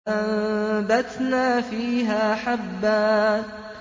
فَأَنبَتْنَا فِيهَا حَبًّا